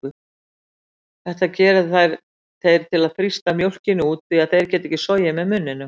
Þetta gera þeir til að þrýsta mjólkinni út því þeir geta ekki sogið með munninum.